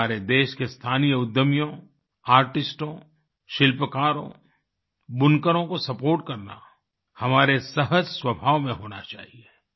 हमारे देश के स्थानीय उद्यमियों आर्टिस्टों शिल्पकारों बुनकरों को सपोर्ट करना हमारे सहज स्वभाव में होना चाहिए